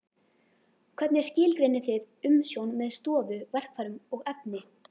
Hvernig skilgreinið þið umsjón með stofu, verkfærum og efni?